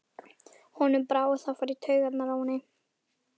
Honum brá, og það fór í taugarnar á henni.